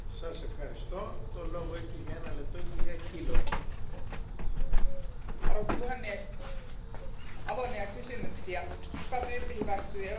Arvoisa puhemies, avoimia kysymyksiä kuka tyyppihyväksyy Euroopan teillä ajettavat autot, minkälaista markkinavalvontaa autoille suoritetaan?